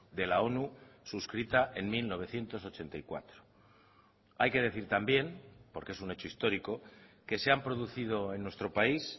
de la onu suscrita en mil novecientos ochenta y cuatro hay que decir también porque es un hecho histórico que se han producido en nuestro país